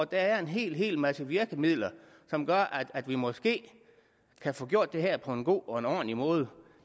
der er en hel masse virkemidler som gør at vi måske kan få gjort det her på en god og en ordentlig måde